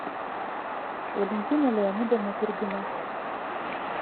валентина леонидовна турбина